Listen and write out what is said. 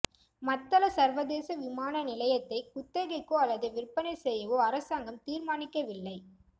மத்தள சர்வதேச விமான நிலையத்தை குத்தகைக்கோ அல்லது விற்பனை செய்யவோ அரசாங்கம் தீர்மானிக்கவில்லை